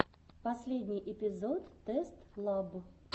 последний эпизод тест лаб